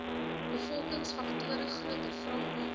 bevolkingsfaktore groter vraag